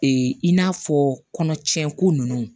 in n'a fɔ kɔnɔcɛ ko ninnu